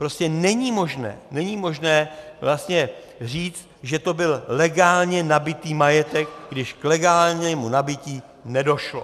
Prostě není možné říct, že to byl legálně nabytý majetek, když k legálnímu nabytí nedošlo.